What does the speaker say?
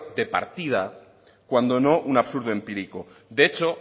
de partida cuando no un absurdo empírico de hecho